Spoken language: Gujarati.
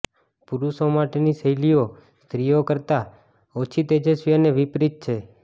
પુરુષો માટેની શૈલીઓ સ્ત્રીઓ કરતાં ઓછી તેજસ્વી અને વિપરીત છે